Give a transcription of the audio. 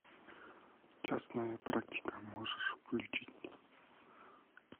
частная практика можешь включить